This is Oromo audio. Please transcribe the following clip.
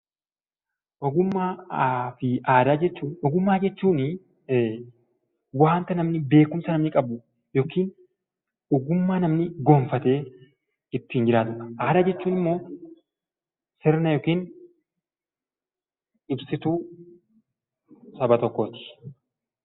Ogummaa fi Aadaa: Ogummaa jechuun wanta beekumsa namni qabu yookiin ogummaa namni gonfatee ittiin jiraatudha. Aadaa jechuun immoo sirna yookiin ibsituu saba tokkooti.